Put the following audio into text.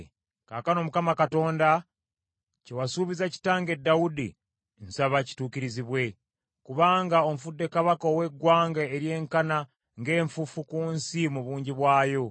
Kaakano, Mukama Katonda, kye wasuubiza kitange Dawudi, nsaba kituukirizibwe, kubanga onfudde kabaka ow’eggwanga eryenkana ng’enfuufu ku nsi mu bungi bwayo.